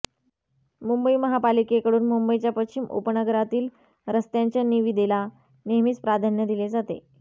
मुंबई महापालिकेकडून मुंबईच्या पश्चिम उपनगरातील रस्त्यांच्या निविदेला नेहमीच प्राधान्य दिले जाते